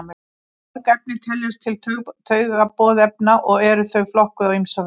Mörg efni teljast til taugaboðefna og eru þau flokkuð á ýmsa vegu.